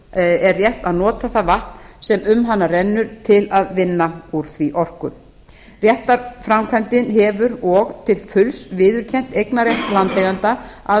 er rétt að nota það vatn sem um hana rennur til að vinna úr því orku réttarframkvæmdin hefur og til fulls viðurkennt eignarrétt landeiganda að